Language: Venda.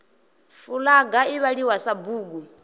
fulaga i vhaliwa sa bugu